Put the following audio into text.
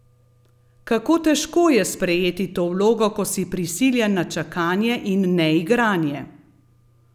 Kako težko je sprejeti to vlogo, ko si prisiljen na čakanje in neigranje?